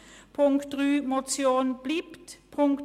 Die Ziffer 3 bleibt als Motion bestehen.